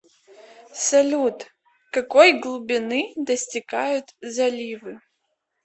салют какой глубины достигают заливы